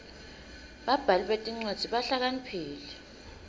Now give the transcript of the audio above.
babhali betincwadzi bahlakaniphile